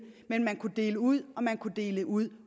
men man kunne dele ud og man kunne dele ud